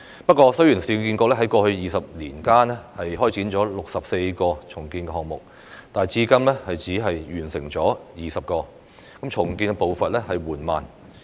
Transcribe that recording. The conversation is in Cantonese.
不過，雖然市建局在過去20年間開展了64個重建項目，但至今只完成了20個，重建步伐緩慢。